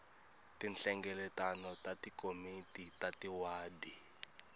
tinhlengeletano ta tikomiti ta tiwadi